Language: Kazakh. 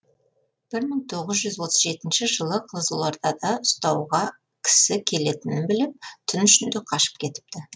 бір мың тоғыз жүз отыз жетінші жылы қызылордада ұстауға кісі келетінін біліп түн ішінде қашып кетіпті